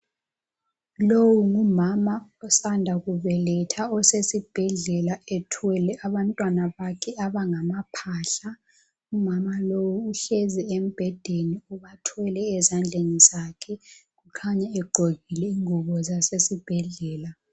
Iowu ngumama osanda kubeletha osesibhedlela ethwele abantwana bakhe abangamawele umama lo uhlezi embhedeni ubathwele ezandleni zakhe kukhanya egqokile ingubo zasesibhedlela.